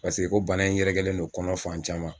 Paseke ko bana in yɛrɛkɛlen do kɔnɔ fan caman